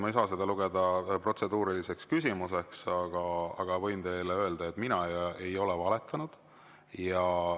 Ma ei saa seda lugeda protseduuriliseks küsimuseks, aga võin teile öelda, et mina ei ole valetanud.